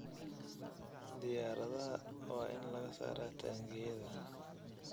Diyaaradaha waa in laga saaraa taangiyada.